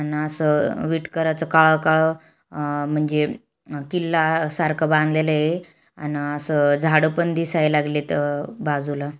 आन अस विटकराच काळ-काळ अ-म्हणजे किल्ला सारखं बाधलेले आहे अन अस झाड पण दिसाय लागलेत अ-बाजूला--